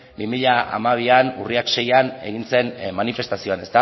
bi mila hamabian urriaren seian egin zen manifestazioan